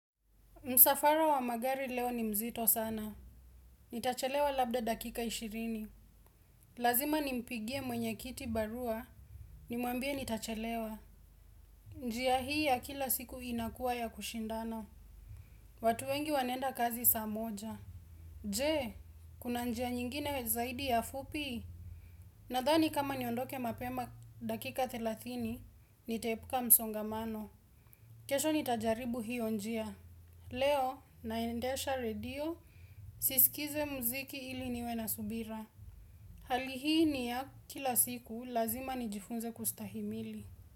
Msafara wa magari leo ni mzito sana. Nitachelewa labda dakika ishirini. Lazima nimpigie mwenye kiti barua. Nimwambie nitachelewa. Njia hii ya kila siku inakuwa ya kushindana. Watu wengi wanaenda kazi saa moja. Je, kuna njia nyingine zaidi ya fupi? Nadhani kama niondoke mapema dakika thelathini, nitaepuka msongamano. Kesho nitajaribu hiyo njia. Leo, naendesha radio. Sisikize mziki ili niwe na subira hali hii ni ya kila siku lazima nijifunze kustahimili.